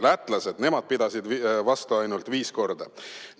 Lätlased, nemad pidasid vist ainult viis korda vastu.